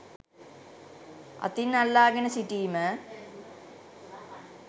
අතින් අල්ලාගෙන සිටීම